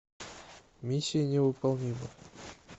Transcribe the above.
миссия невыполнима